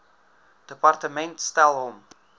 departement stel hom